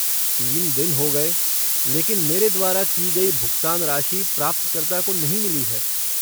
तीन दिन हो गए, लेकिन मेरे द्वारा की गई भुगतान राशि प्राप्तकर्ता को नहीं मिली है।